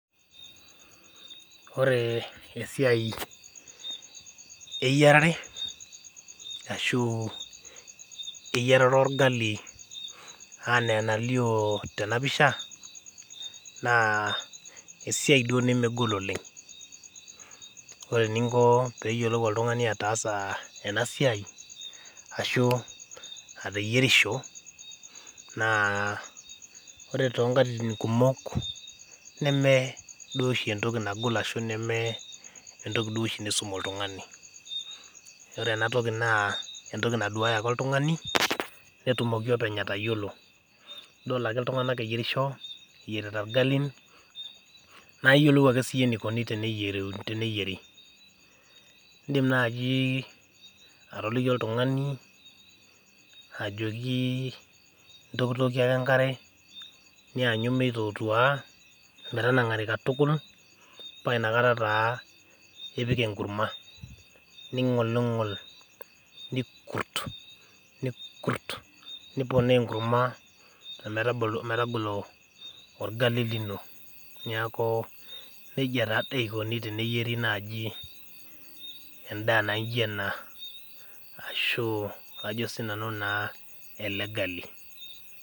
Ore esiai eyiarare ashu eyiarare orgali ena enalio tena pisha naa esiai duo nemegol oleng .ore eninko pee eyiolou oltungani ataasa ena siai ,ashu ateyierisho naa ore tonkatitin kumok neme duo oshi entoki nagol ashu entoki nisum oltungani ,ore near toki naa entoki ake naduaya oltungani netumoki openy etayiolo. idol ake iltunganak eyeirisho eyierita irgalin naa iyiolou ake siiyie enikoni teneyieri .indim naaji atoliki oltungani ajoki intokitokie ake enkare nayanyu meitotua metanangari katukul paa inakata taa ipik enkurma nigolingol nikurt niponaa enkurma ometagolo orgali lino, neeku najia naaji eikoni teneyieri endaa naijo ena ashu ele gali.